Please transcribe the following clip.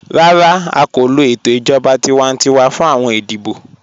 Rárá, à kò lọ ètò ijọ̀ba tíwàntíwà fún awọn ìdíbọ̀.